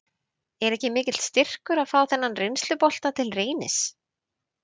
Er ekki mikill styrkur að fá þennan reynslubolta til Reynis?